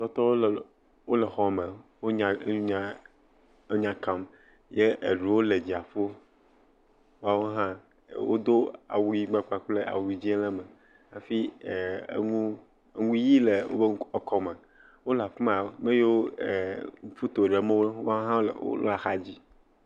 Wo katã wole xɔme. Wole enya nya enya kam ye eɖewo le dziaƒo. Woawo hã wodo awu yibɔ kple awu dzĩ le me hafi eŋuʋi le woƒe kɔ me. Wole afi ma. Ame siwo le photo ɖem wo hã le woƒe axadzi.